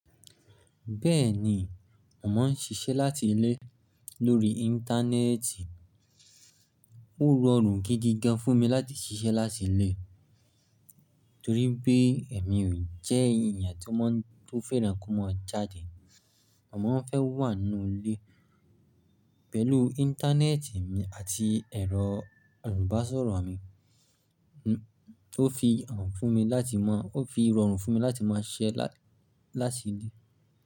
Bẹ́ẹ̀ni, mo màá ń ṣiṣẹ́ láti ilé lórí Íńtánẹ́ẹ̀tì. Ó rọrùn gidi gan fún mi láti ṣiṣẹ́ láti ilé torí bí èmi ò jẹ́ ènìyàn tó fẹ́ràn kí o mó jáde. Mó Màá ń fẹ́ wà nínú ilé pẹ̀lú Íńtánẹ́ẹ̀tì mi àti ẹ̀rọ ìbásọ̀rọ̀ mi tó fi rọ̀rùn fún mi láti máa ṣiṣẹ́ láti ilé.